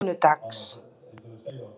sunnudags